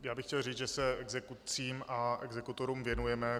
Já bych chtěl říct, že se exekucím a exekutorům věnujeme.